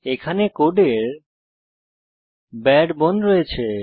এখানে কোডের বারে বোন রয়েছে